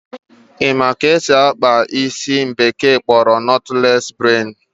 Ị ma ka esi akpa ụdị isi ndị bekee kpọrọ nọtles braid?